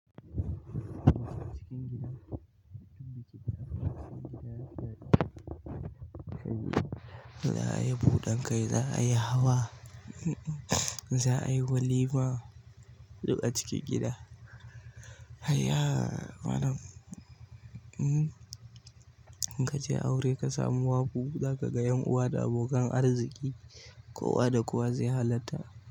Cikin gida, duk bikin aure cikin gida yafi daɗi. Za a yi buɗan kai, za a yi hawa, za a yi walima duk a cikin gida. Ayya malam uhmm in kaje aure kasamu wafuu zakaga ƴan uwa da abokan arziki kowanda kowa zai halarta.